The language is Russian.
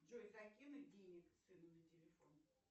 джой закинуть денег сыну на телефон